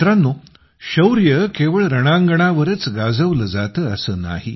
मित्रांनो शौर्य केवळ रणांगणावरच गाजवले जाते असे नाही